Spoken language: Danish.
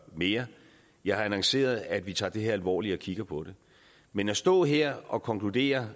mere jeg har annonceret at vi tager det her alvorligt og kigger på det men at stå her og konkludere